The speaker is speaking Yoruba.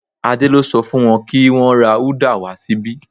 Adé lo so fún won ki wón ra uda wa síbí